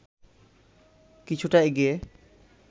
কিছুটা এগিয়ে